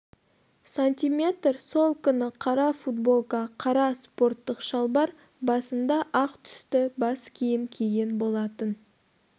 см сол күні қара футболка қара спорттық шалбар басында ақ түсті бас киім киген болатын